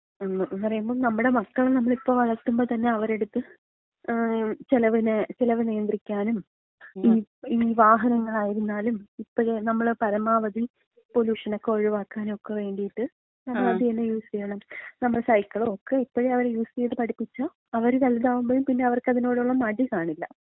എന്ന് പറയുമ്പം നമ്മുടെ മക്കളെ നമ്മള് ഇപ്പൊ വളർത്തുമ്പോ തന്നെ അവരുടെ അട്ത്ത് ചിലവിന്, ചെലവ് നിയന്ത്രിക്കാനും ഈ വാഹനങ്ങളായിരുന്നാലും ഇപ്പഴേ നമ്മൾ പരമാവധി പൊലൂഷനൊക്കെ ഒഴിവാക്കാനും ഒക്കെ വേണ്ടിയിട്ട് നമ്മള് അത് തന്നെ യൂസ് ചെയ്യണം. നമ്മള് സൈക്കിൾ ഒക്കെ ഇപ്പഴേ അവരെ യൂസ് ചെയ്ത് പഠിപ്പിച്ച അവര് വലുതാവുമ്പോഴും പിന്നെ അവർക്കതിനോടുള്ള മടി കാണില്ല.